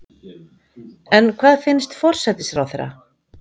En hvað finnst forsætisráðherra?